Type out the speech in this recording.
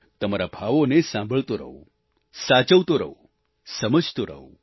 તમારા ભાવોને સાંભળતો રહું સાચવતો રહું સમજતો રહું